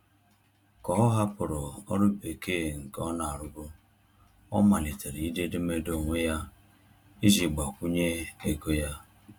Ka ọ hapụrụ ọrụ bekee nke ọ na-arụbu, ọ malitere ide edemede onwe ya iji gbakwunye ego ya.